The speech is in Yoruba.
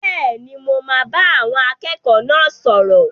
Bẹ́ẹ̀ni, mo máa bá àwọn akẹ́kọ̀ọ́ náà sọ̀rọ̀.